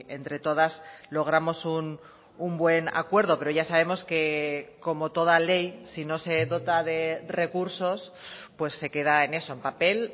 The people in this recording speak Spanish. entre todas logramos un buen acuerdo pero ya sabemos que como toda ley si no se dota de recursos pues se queda en eso en papel